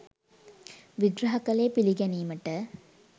විග්‍රහ කළේ පිළිගැනීමට